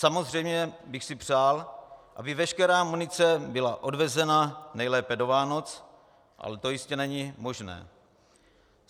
Samozřejmě bych si přál, aby veškerá munice byla odvezena nejlépe do Vánoc, ale to jistě není možné.